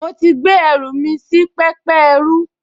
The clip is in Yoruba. Mo ti gbé ẹrù mi sí pẹpẹ ẹrú